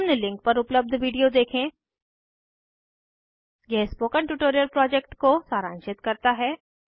निम्न लिंक पर उपलब्ध विडिओ देखें यह स्पोकन ट्यूटोरियल प्रोजेक्ट को सारांशित करता है